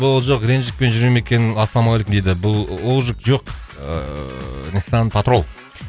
рэнжикпен жүр ме екен ассалаумағалейкум дейді бұл олжик жоқ ыыы ниссан патрол